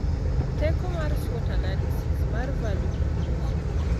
Teko mar SWOT analysis mar value proposition.